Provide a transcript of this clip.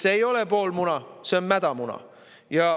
See ei ole pool muna, see on mädamuna.